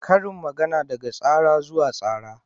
Karin magana daga tsara zuwa tsara.